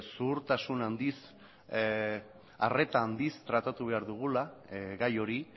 zuhurtasun handiz arreta handiz tratatu behar dugula gai hori